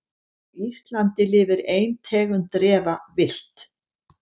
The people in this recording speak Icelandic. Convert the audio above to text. Á Íslandi lifir ein tegund refa villt.